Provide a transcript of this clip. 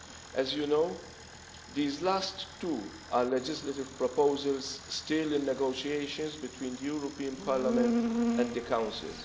As you know, these last two are legislative proposals still in negotiations between Parliament and the Council.